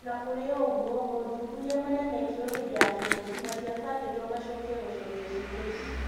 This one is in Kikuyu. Ona kũrĩ o ũguo mothuthuria marĩa mekirwo hĩndĩ ya kĩng'ũki matiabangĩtwo macokio gũcokia ciũria ici.